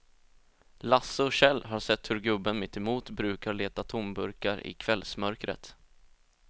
Lasse och Kjell har sett hur gubben mittemot brukar leta tomburkar i kvällsmörkret.